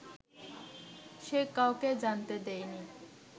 সে কাউকে জানতে দেয়নি